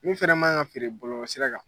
Min fana ma ka feere bɔlɔlɔsira kan.